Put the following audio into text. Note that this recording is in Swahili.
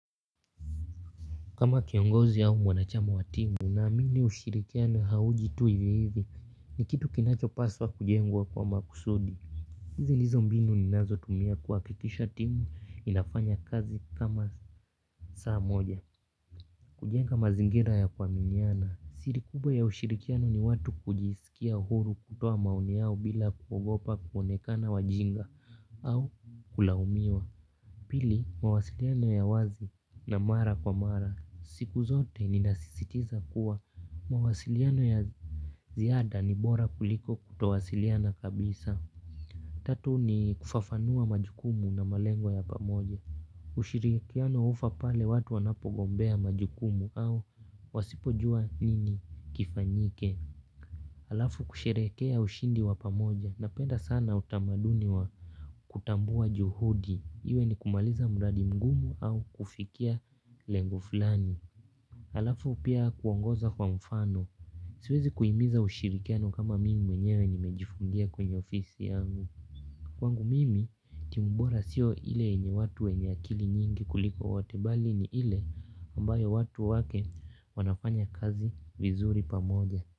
Kama kiongozi au mwanachama wa timu naamini ushirikiano hauji tu hivi hivi ni kitu kinacho paswa kujengwa kwa makusudi. Hizi ndizo mbinu ninazo tumia kuhakikisha timu inafanya kazi kama saa moja kujenga mazingira ya kuaminiana siri kubwa ya ushirikiano ni watu kujisikia uhuru kutoa maoni yao bila kuogopa kuonekana wajinga au kulaumiwa pili mawasiliano ya wazi na mara kwa mara siku zote ninasisitiza kuwa mawasiliano ya ziada ni bora kuliko kutowasiliana kabisa. Tatu ni kufafanua majukumu na malengwa ya pamoja. Ushirikiano hufa pale watu wanapogombea majukumu au wasipojua nini kifanyike. Halafu kusherehekea ushindi wa pamoja napenda sana utamaduni wa kutambua juhudi iwe ni kumaliza mradi mgumu au kufikia lengo fulani. Alafu pia kuongoza kwa mfano, siwezi kuimiza ushirikiano kama mimi mwenyewe nimejifungia kwenye ofisi yangu. Kwangu mimi, timu bora sio ile yenye watu wenye akili nyingi kuliko wote bali ni ile ambayo watu wake wanafanya kazi vizuri pamoja.